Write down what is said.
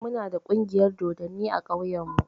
Eh, mu na da ƙungiyar dodanni a ƙauyen mu